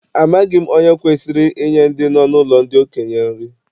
Amaghị m onye kwesịrị inye ndị nọ n'ụlọ ndị okenye nri